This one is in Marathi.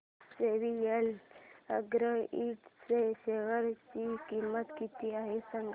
आज जेवीएल अॅग्रो इंड च्या शेअर ची किंमत किती आहे सांगा